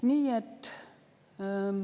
Nii et …